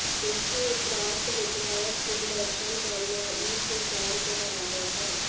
उसके उपरांत विधायक के दर्शन करना ईद के चांद के बराबर हैं